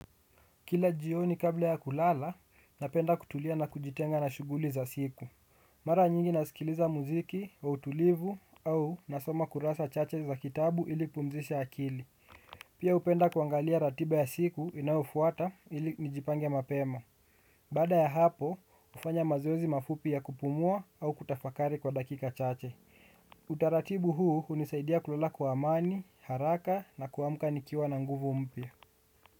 Kila jioni kabla ya kulala, napenda kutulia na kujitenga na shuguli za siku. Mara nyingi nasikiliza muziki, wa utulivu, au nasoma kurasa chache za kitabu ilinipumzishe akili. Pia hupenda kuangalia ratiba ya siku inayofuata ili nijipange mapema. Baada ya hapo, hufanya mazoezi mafupi ya kupumua au kutafakari kwa dakika chache. Utaratibu huu hunisaidia kulala kwa mani, haraka na kuamka nikiwa na nguvu mpa.